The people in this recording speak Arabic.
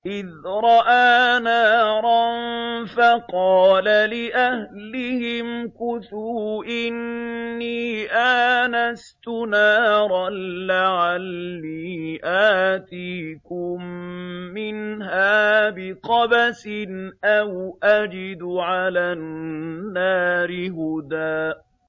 إِذْ رَأَىٰ نَارًا فَقَالَ لِأَهْلِهِ امْكُثُوا إِنِّي آنَسْتُ نَارًا لَّعَلِّي آتِيكُم مِّنْهَا بِقَبَسٍ أَوْ أَجِدُ عَلَى النَّارِ هُدًى